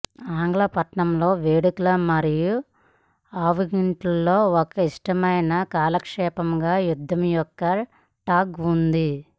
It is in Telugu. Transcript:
ఆంగ్ల పట్టణంలో వేడుకలు మరియు అవుటింగ్ల్లో ఒక ఇష్టమైన కాలక్షేపంగా యుద్ధం యొక్క టగ్ ఉంది